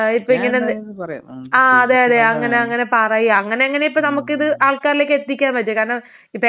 ആഹ് അതെ അതെ അങ്ങനെ അങ്ങനെ പറയാ അങ്ങനെ അങ്ങനെ ഇപ്പൊ നമ്മക്കിത് ആൾക്കാരിലേക്ക് എത്തിക്കാൻ പറ്റും കാരണം ഇപ്പൊ എല്ലാരും ഇപ്പൊ ഇത് അറിയണം എന്നൊന്നുമില്ല.